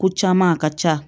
Ko caman a ka ca